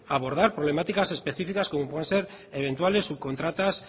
abordar problemática específicas como pueden ser eventuales subcontratas